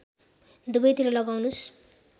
दुबै तिर लगाउनुस्